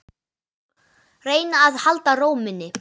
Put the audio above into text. Reyna að halda ró minni.